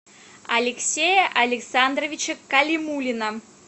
алексея александровича калимуллина